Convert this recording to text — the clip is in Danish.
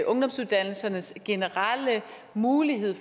ungdomsuddannelsernes generelle mulighed